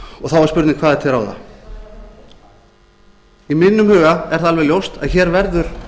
og þá er spurning hvað er til ráða í mínum huga er það alveg ljóst að hér verður